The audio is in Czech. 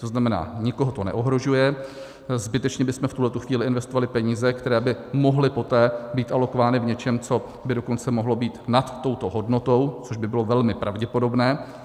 To znamená, nikoho to neohrožuje, zbytečně bychom v tuhle chvíli investovali peníze, které by mohly poté být alokovány v něčem, co by dokonce mohlo být nad touto hodnotou, což by bylo velmi pravděpodobné.